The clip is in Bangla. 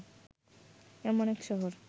এমন এক শহর